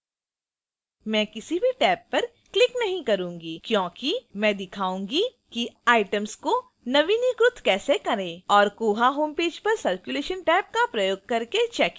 मैं किसी भी टैब पर click नहीं करूंगी क्योंकि मैं दिखाऊंगी कि items को नवीनीकृत कैसे करें और koha homepage पर circulation टैब का प्रयोग करके check इन करें